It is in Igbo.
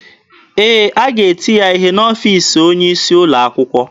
Ee, a ga-eti ya ihe n'ọfiisi onye isi ụlọ akwụkwọ.